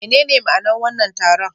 Menene ma'anar wannan taron?